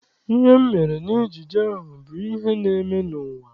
Ihe mere n'ejije ahụ bụ ihe na-eme n'ụwa.